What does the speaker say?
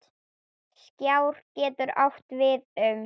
Skjár getur átt við um